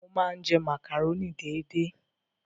Mo máa ń jẹ màkàrónì déédé.